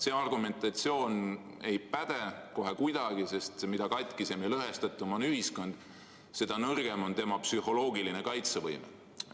See argumentatsioon ei päde kohe kuidagi, sest mida katkisem ja lõhestatum on ühiskond, seda nõrgem on tema psühholoogiline kaitsevõime.